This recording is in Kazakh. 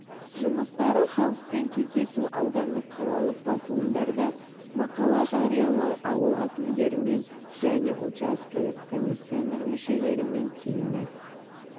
жұмыстары халықпен кездесу аудандық қалалық басылымдарда мақала жариялау ауыл әкімдерімен және учаскелік комиссияның мүшелерімен семинар